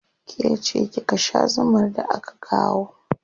Ke ce kika sha zumar da aka kawo.